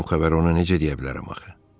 Mən bu xəbəri ona necə deyə bilərəm axı?